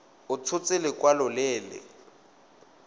a tshotse lekwalo le le